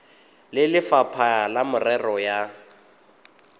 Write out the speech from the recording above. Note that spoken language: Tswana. le lefapha la merero ya